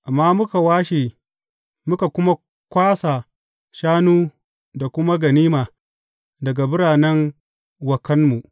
Amma muka washe, muka kuma kwasa shanu da kuma ganima daga biranen wa kanmu.